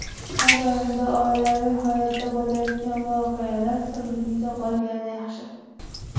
Nazarimda, oilaviy hayotda bo‘layotgan voqealar sirligicha qolgani yaxshi.